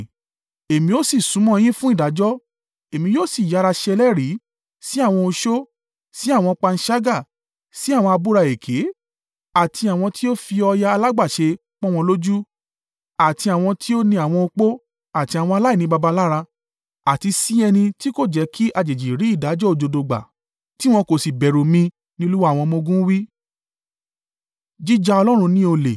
“Èmi ó sì súnmọ́ yin fún ìdájọ́. Èmi yóò sì yára ṣe ẹlẹ́rìí sí àwọn oṣó, sí àwọn panṣágà, sí àwọn abúra èké, àti àwọn tí ó fi ọ̀yà alágbàṣe pọn wọn lójú, àti àwọn tí ó ni àwọn opó àti àwọn aláìní baba lára, àti sí ẹni tí kò jẹ́ kí àjèjì rí ìdájọ́ òdodo gbà, tí wọn kò sì bẹ̀rù mi,” ni Olúwa àwọn ọmọ-ogun wí.